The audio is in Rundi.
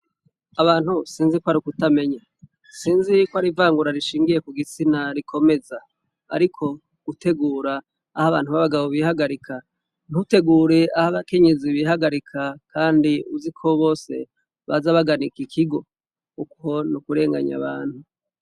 Abantu sinzi kwar'ukutamenya ,sinzi kwar'ivangura rinshingiy kugitsina rikomeza, ariko gutegura ah'abantu b'abagobo bihagarika ntutegure ah'abakenyezi bihagarika, kandi uziko bose baza bagana iki kigo, uko n'ukurenganya abantu.